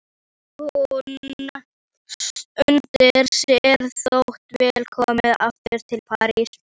Hún unir sér þó vel komin aftur til Parísar.